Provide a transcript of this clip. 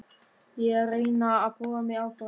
Ég er að reyna að prófa mig áfram.